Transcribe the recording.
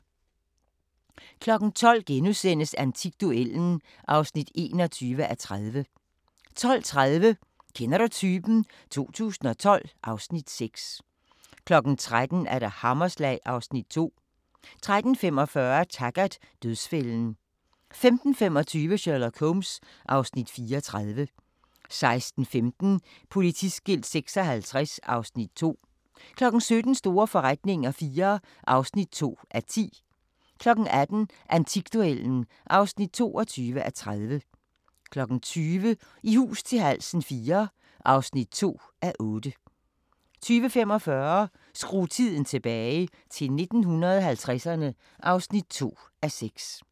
12:00: Antikduellen (21:30)* 12:30: Kender du typen? 2012 (Afs. 6) 13:00: Hammerslag (Afs. 2) 13:45: Taggart: Dødsfælden 15:25: Sherlock Holmes (Afs. 34) 16:15: Politiskilt 56 (Afs. 2) 17:00: Store forretninger IV (2:10) 18:00: Antikduellen (22:30) 20:00: I hus til halsen IV (2:8) 20:45: Skru tiden tilbage – til 1950'erne (2:6)